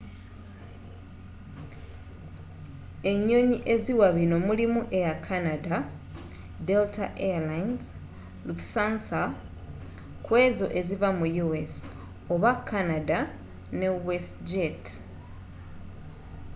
enyonyi eziwa binno mulimu air canada delta airlines lufthansa kw'ezo eziva mu u.s. oba canada ne westjet